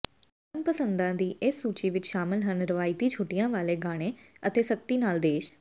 ਮਨਪਸੰਦਾਂ ਦੀ ਇਸ ਸੂਚੀ ਵਿੱਚ ਸ਼ਾਮਲ ਹਨ ਰਵਾਇਤੀ ਛੁੱਟੀਆਂ ਵਾਲੇ ਗਾਣੇ ਅਤੇ ਸਖਤੀ ਨਾਲ ਦੇਸ਼